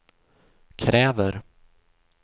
kräver